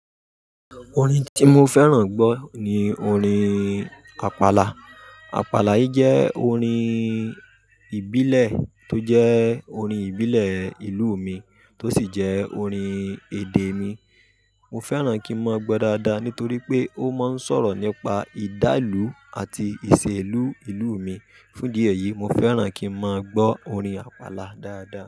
Orin ti mo fẹ́ràn gbọ́ ni orin Àpàlà. Àpàlà yìí jẹ́ orin ìbílẹ̀ tó jẹ́ orin ìbílẹ̀ ìlú mi tó sì jẹ́ orin èdè mi. Mo fẹ́ràn kí n máa gbọ́ dáadáa nítorí pé ó máa ń sọ̀rọ̀ nípa ìdálú àti ìṣe ìlú ìlú mi. Fún di eyìí, mo fẹ́ràn kí n máa gbọ́ orin Àpàlà dáadáa.